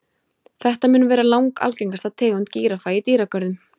Þetta mun vera langalgengasta tegund gíraffa í dýragörðum.